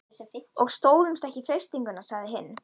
Og stóðumst ekki freistinguna sagði hinn.